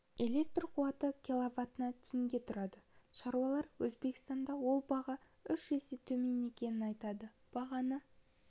электр қуаты киловатына теңге тұрады шаруалар өзбекстанда ол баға үш есе төмен екенін айтады бағаны